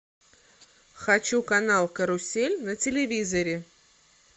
хочу канал карусель на телевизоре